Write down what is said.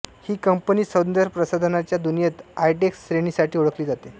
ही company सौंदर्यप्रसाधनांच्या दुनियेत आयटेक्स श्रेणीसाठी ओळखली जाते